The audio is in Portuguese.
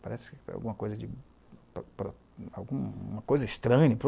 Parece alguma coisa de... uma coisa estranha.